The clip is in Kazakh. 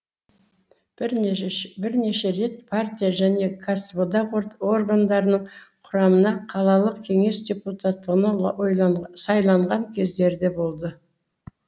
бірнеше рет партия және кәсіподақ органдарының құрамына қалалық кеңес депутаттығына сайланған кездері де болды